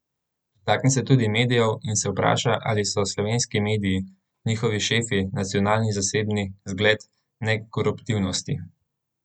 Dotakne se tudi medijev, in se vpraša, ali so slovenski mediji, njihovi šefi, nacionalni in zasebni, zgled nekoruptivnosti?